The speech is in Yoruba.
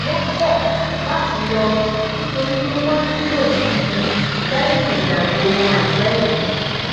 wón kò láti lọ nítorí pé wón nílò isinmi léyìn ìrìn àjò won àìpé yìí